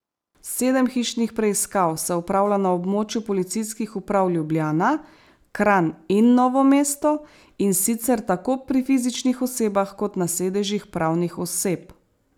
Sedem hišnih preiskav se opravlja na območju Policijskih uprav Ljubljana, Kranj in Novo mesto, in sicer tako pri fizičnih osebah kot na sedežih pravnih oseb.